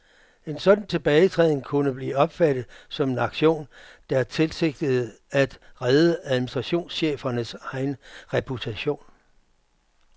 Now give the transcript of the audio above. En sådan tilbagetræden kunne blive opfattet som en aktion, der tilsigtede at redde administrationschefernes egen reputation.